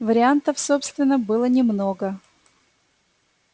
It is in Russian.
вариантов собственно было немного